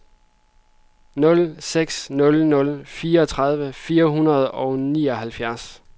nul seks nul nul fireogtredive fire hundrede og nioghalvfjerds